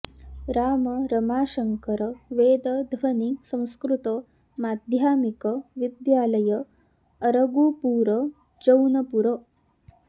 Ram Ramashankar Ved Dhwani Sanskrit Madhyamik Vidyalaya Argupur Jaunpur